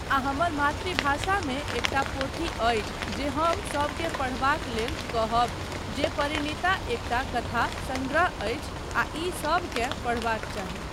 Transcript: आ हमर मातृभाषामे एकटा पोथी अछि जे हम सबकेँ पढ़बाक लेल कहब जे परिणीता एकटा कथा सङ्ग्रह अछि आ ई सबकेँ पढबाक चाही